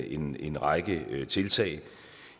en en række tiltag